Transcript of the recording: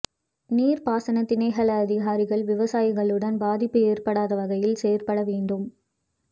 நீர்ப்பாசன திணைக்கள அதிகாரிகள் விவசாயிகளுடன் பாதிப்பு ஏற்படடத வகையில் செயற்பட வேண்டும்